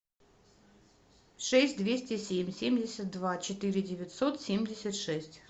шесть двести семь семьдесят два четыре девятьсот семьдесят шесть